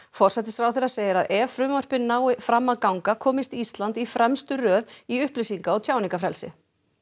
forsætisráðherra segir að ef frumvörpin ná fram að ganga komist Ísland í fremstu röð í upplýsinga og tjáningarfrelsi